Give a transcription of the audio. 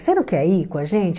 Você não quer ir com a gente?